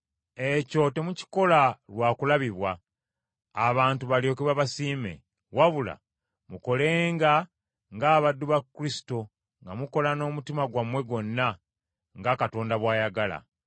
Ekyo temukikola lwa kulabibwa, abantu balyoke babasiime, wabula mukolenga ng’abaddu ba Kristo nga mukola n’omutima gwammwe gwonna, nga Katonda bw’ayagala.